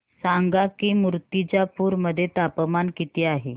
सांगा की मुर्तिजापूर मध्ये तापमान किती आहे